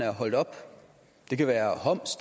er holdt op det kan være homs